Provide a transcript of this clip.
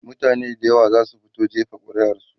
mutane da yawa zasu fito jefa ƙuri'ar su